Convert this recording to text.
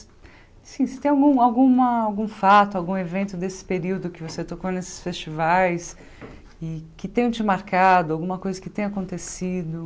Se se tem algum alguma algum fato, algum evento desse período que você tocou nesses festivais e que tenham te marcado, alguma coisa que tenha acontecido?